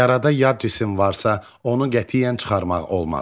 Yarada yad cisim varsa, onu qətiyyən çıxarmaq olmaz.